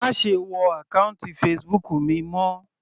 Má ṣe wọ àkọ́ùntì Facebook mi mọ́.